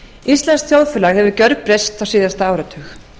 íslenskt þjóðfélag hefur gjörbreyst á síðasta áratug